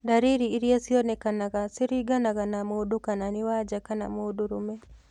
Ndariri iria cionekanga ciringanaga na mũndũ kana nĩ wanja kama mũndũrũme